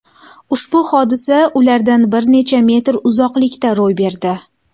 Ushbu hodisa ulardan bir necha metr uzoqlikda ro‘y berdi.